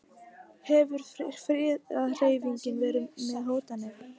Hefur friðarhreyfingin verið með hótanir?